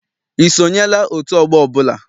I sonyela otu ọgbọ ọbụla?